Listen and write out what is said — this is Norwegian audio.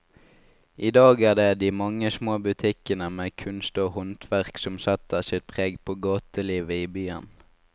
I dag er det de mange små butikkene med kunst og håndverk som setter sitt preg på gatelivet i byen.